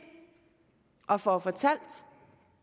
og får fortalt